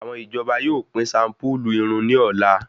Àwọn ìjọba yóò pín shampulu irun ní ọ̀la